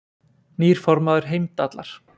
Nýr formaður Heimdallar